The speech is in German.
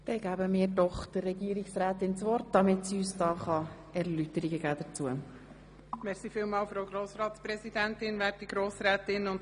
Ich gebe das Wort an die Regierungsrätin, damit sie uns dazu Erläuterungen geben kann.